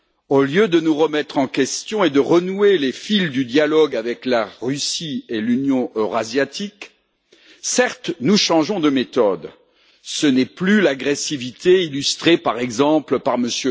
Au lieu de nous remettre en question et de renouer les fils du dialogue avec la Russie et l'Union économique eurasiatique, certes, nous changeons de méthode ce n'est plus l'agressivité illustrée, par exemple, par M.